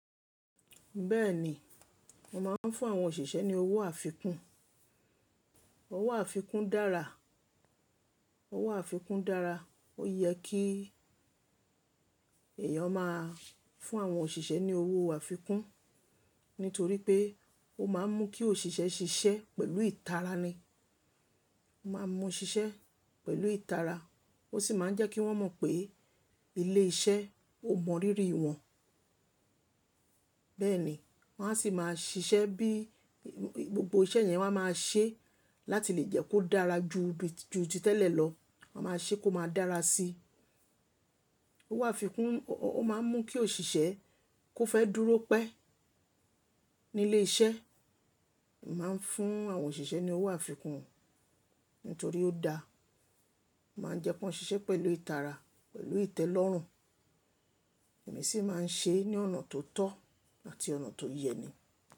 Bẹ́ẹ̀ni, mo máa ń fún àwọn òṣìṣẹ́ ní owó àfikún. Owó àfikún dára. Owó àfikún dára. Ó yẹ kí èèyàn máa fún àwọn òṣìṣẹ́ ní owó àfikún, nítorí pé ó máa ń mú kí òṣìṣẹ́ ṣiṣẹ́ pẹ̀lú ìtara ni. Ó máa ń mú ṣiṣẹ́ pẹ̀lú ìtara, ó sì máa ń jẹ́ kí wọ́n mọ̀ pé ilé iṣẹ́ ò mọrírì wọ́n. Bẹ́ẹ̀ni, wọ́n á sì máa ṣiṣẹ́ bí, gbogbo iṣẹ́ yẹn wọ́n á máa ṣe láti lè jẹ́ kó dára ju bí ju ti tẹ́lẹ̀ lọ. Wọ́n máa ṣe kó máa dára sí i. Owó àfikún ó máa ń mú kí òṣìṣẹ́ kó fẹ́ dúró pẹ́ nílé iṣẹ́. Mo máa ń fún àwọn òṣìṣẹ́ ní owó àfikún o, nítorí ó da. Ó máa ń jẹ́ ki wọ́n ṣiṣẹ́ pẹ̀lú ìtara, pẹ̀lú ìtẹ́lọ́rùn, èmi sì máa ń ṣe é ní ọ̀nà tó tọ́ àti ọ̀nà tó yẹ ni.